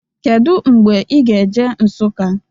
Kedu mgbe ị ga-eje Nsukka?